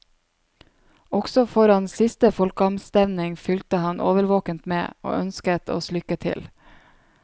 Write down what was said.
Også foran siste folkeavstemning fulgte han årvåkent med, og ønsket oss lykke til.